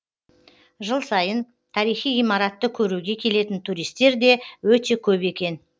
жыл сайын тарихи ғимаратты көруге келетін туристер де өте көп екен